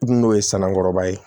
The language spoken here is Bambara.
N'o ye sanukɔrɔba ye